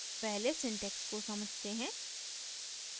पहले syntax को समझते हैं